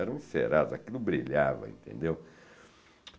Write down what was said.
Eram encerados, aquilo brilhava, entendeu?